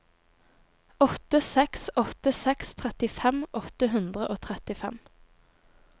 åtte seks åtte seks trettifem åtte hundre og trettifem